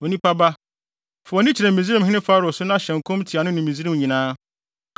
“Onipa ba, fa wʼani kyerɛ Misraimhene Farao so na hyɛ nkɔm tia no ne Misraim nyinaa.